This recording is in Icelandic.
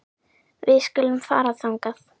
Við skulum fara þangað.